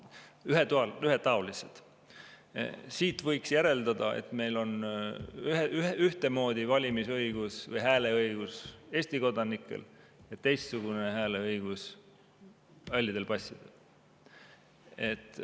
võiks järeldada, et meil ühtemoodi valimisõigus või hääleõigus Eesti kodanikel ja teistsugune hääleõigus halli passi omanikel.